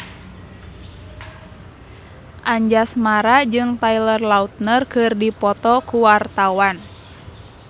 Anjasmara jeung Taylor Lautner keur dipoto ku wartawan